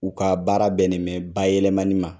U ka baara bɛnnen bɛ bayɛlɛmani ma.